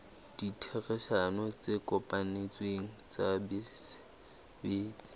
ditherisano tse kopanetsweng ke basebetsi